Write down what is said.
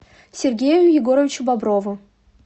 сергею егоровичу боброву